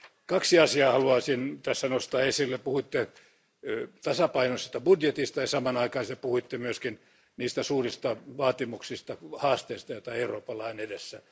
Kaksi asiaa haluaisin tässä nostaa esille, puhuitte tasapainoisesta budjetista ja samanaikaisesti puhuitte myöskin niistä suurista vaatimuksista ja haasteista, joita Euroopalla on edessään.